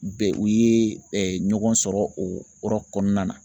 Bɛ u ye ɲɔgɔn sɔrɔ o yɔrɔ kɔnɔna na